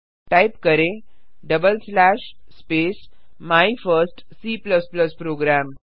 type करें double slash space my first C programme